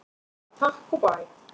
Bara takk og bæ!